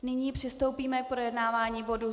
Nyní přistoupíme k projednávání bodu